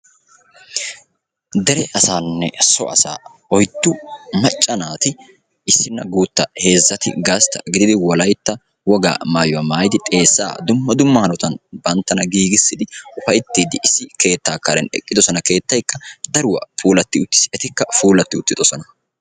Dere asanne so asa oyddu macca naati issina guutta heezzati gastta gididi wolaytta wogaa maayyuwa maayyidi xeessa dumma dumma hanotan banttana giigidi upayttidi issi keetta karen eqqidoosona. Keettaykka daruwa puulati uttis, etikka puulati uttidoosona.